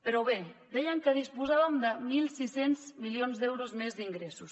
però bé dèiem que disposàvem de mil sis cents milions d’euros més d’ingressos